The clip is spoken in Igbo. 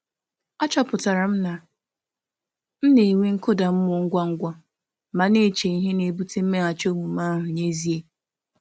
Achọpụtara m na m na-enwe nkụda mmụọ ngwa ngwa ma na-eche ihe na-ebute mmeghachi omume ahụ n'ezie.